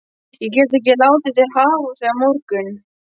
Ég get ekki látið þig hafa þau á morgun